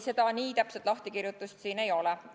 Ei, nii täpset lahtikirjutust siin ei ole.